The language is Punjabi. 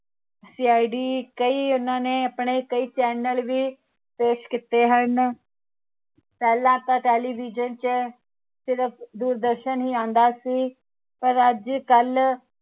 CID ਕਈ ਉਹਨਾਂ ਨੇ ਆਪਣੇ ਕਈ channel ਵੀ ਪੇਸ਼ ਕੀਤੇ ਹਨ ਪਹਿਲਾ ਤਾਂ television ਚ ਸਿਰਫ ਦੂਰਦਰਸ਼ਨ ਹੀ ਆਉਂਦਾ ਸੀ ਪਰ ਅੱਜਕਲ